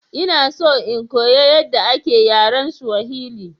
Ina so in koyi yadda ake yaren Swahili.